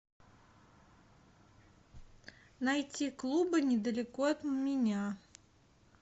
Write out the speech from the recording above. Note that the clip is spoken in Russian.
найти клубы недалеко от меня